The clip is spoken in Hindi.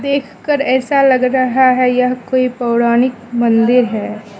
देख कर ऐसा लग रहा है यह कोई पौराणिक मंदिर है।